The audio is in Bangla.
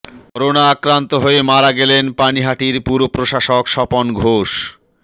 করোনা আক্রান্ত হয়ে মারা গেলেন পানিহাটির পুরপ্রশাসক স্বপন ঘোষ